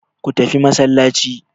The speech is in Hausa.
Ku tafi masallaci!